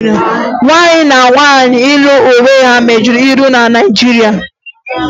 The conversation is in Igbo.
Nwanyị na nwaanyị ịlụ onwe ha megidere iwu na Naịjirịa